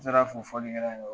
N sera fo fɔlikɛlaw yɔrɔ.